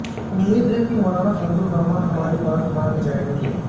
امید ہے مولانا فضل الرحمان ہماری بات مان جائیں گے